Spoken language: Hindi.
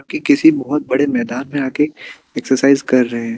कि किसी बहुत बड़े मैदान में आ के एक्सरसाइज कर रहे हैं।